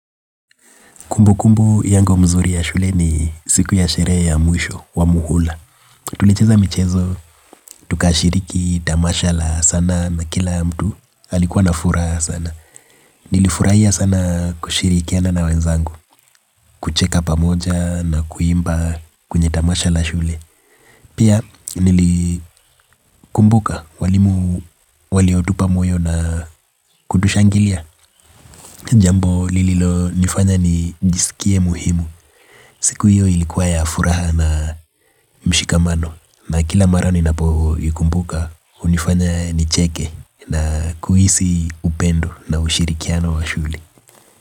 Kumbu kumbu yangu nzuri ya shule ni siku ya sherehe ya mwisho wa muhula. Tulicheza michezo, tukashiriki tamasha la sanaa na kila mtu alikuwa na furaha sana. Nilifurahia sana kushirikiana na wenzangu, kucheka pamoja na kuimba kwenye tamasha la shule. Pia nilikumbuka walimu waliotupa moyo na kutushangilia. Jambo lililonifanya nijisikie muhimu. Siku hiyo ilikuwa ya furaha na mshikamano na kila mara ninapo ikumbuka unifanya nicheke na kuhisi upendo na ushirikiano wa shule.